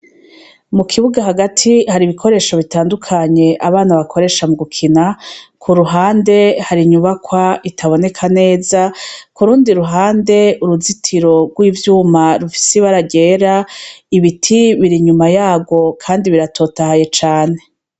Mu kibuga hagati hari ibikoresho bitandukanye abana bakoresha mu gukina ku ruhande hari inyubakwa itaboneka neza ku rundi ruhande uruzitiro rw'ivyuma rufise ibara ryera ibiti biri inyuma yaryo, kandi biratotahaye cane.